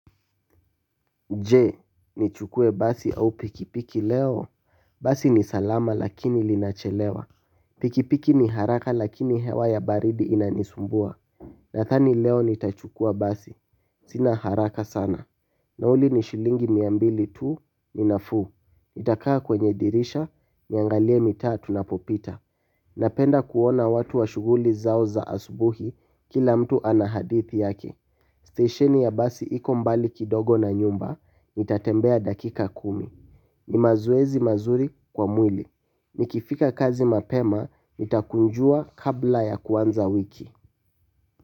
Je, nichukue basi au pikipiki leo? Basi ni salama lakini linachelewa. Pikipiki ni haraka lakini hewa ya baridi inanisumbua. Nadhani leo nitachukua basi. Sina haraka sana. Nauli ni shilingi mia mbili tu, ni nafuu. Nitakaa kwenye dirisha, niangalie mitaa tunapopita. Napenda kuona watu wa shughuli zao za asubuhi, kila mtu ana hadithi yake. Stesheni ya basi iko mbali kidogo na nyumba, nitatembea dakika kumi. Ni mazoezi mazuri kwa mwili. Nikifika kazi mapema, nitakunjua kabla ya kuanza wiki.